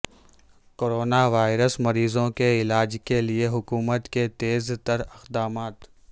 corona virus مریضوں کے علاج کیلئے حکومت کے تیز تر اقدامات